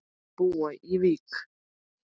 Þau búa í Vík.